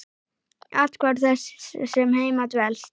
Athvarf þess sem heima dvelst.